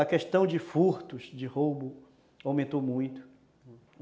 A questão de furtos, de roubos, aumentaram muito.